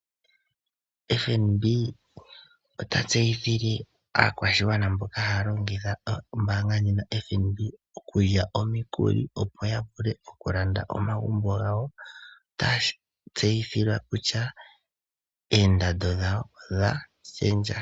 FNB ota tseyithile aakwashigwana mboka haya longitha ombaanga ndjika okulya omikuli, opo ya vule okulanda omagumbo gawo. Otaya tseyithilwa kutya oondando dhawo odha shendja.